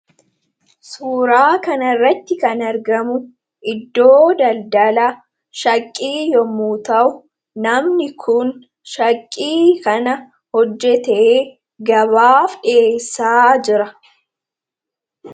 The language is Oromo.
Suuraa kana irratti kan argamu iddoo daldala shaqqii yommu ta'u namni kun shaqqii kana hojjete gabaaf dhiyeessaa jira.